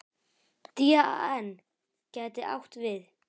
DAN gæti átt við